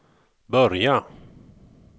börja